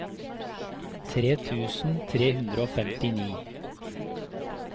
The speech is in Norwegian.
tre tusen tre hundre og femtini